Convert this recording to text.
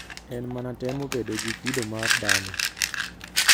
En mana temo bedo gi kido mar dhano.